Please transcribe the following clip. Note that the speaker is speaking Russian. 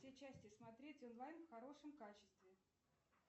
все части смотреть онлайн в хорошем качестве